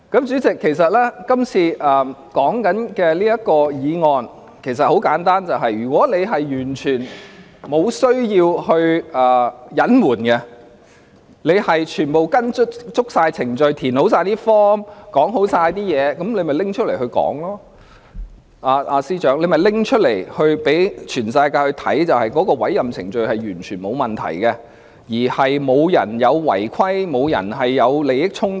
主席，今天討論的議案其實很簡單，就是如果當局完全沒有需要隱瞞，全部也是按照程序填寫表格和申報，便應該拿出文件來讓全世界看，證明律政司司長的委任程序完全沒有問題，亦沒有人違反規定及涉及利益衝突。